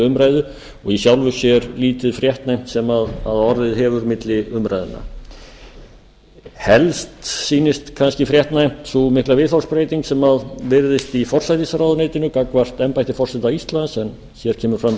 umræðu og í sjálfu sér lítið fréttnæmt sem orðið hefur milli umræðna helst sýnist kannski fréttnæmt sú mikla viðhorfsbreyting sem virðist í forsætisráðuneytinu gagnvart embætti forseta íslands en hér kemur fram tillaga